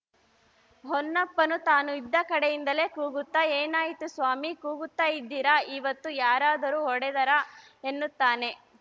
ಹೊನ್ನಪ್ಪನು ತಾನು ಇದ್ದ ಕಡೆಯಿಂದಲೇ ಕೂಗುತ್ತಾ ಏನಾಯಿತು ಸ್ವಾಮಿ ಕೂಗುತ್ತಾ ಇದ್ದೀರಾ ಇವತ್ತು ಯಾರಾದರೂ ಹೊಡೆದರಾ ಎನ್ನುತ್ತಾನೆ